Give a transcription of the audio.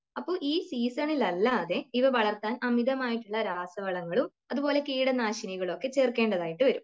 അപ്പോൾ ഈ സീസണിൽ അല്ലാതെ ഇവ വളർത്താൻ അമിതമായിട്ടുള്ള രാസവളങ്ങളും അതുപോലെ കീടനാശിനികളുമൊക്കെ ചേർക്കേണ്ടതായിട്ട് വരും.